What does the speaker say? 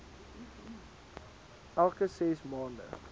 elke ses maande